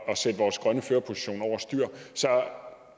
at sætte vores grønne førerposition over styr så